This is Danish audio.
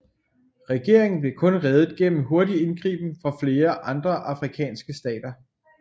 Regeringen blev kun reddet gennem hurtig indgriben fra flere andre afrikanske stater